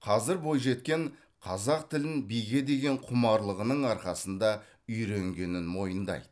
қазір бойжеткен қазақ тілін биге деген құмарлығының арқасында үйренгенін мойындайды